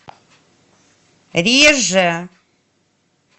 реже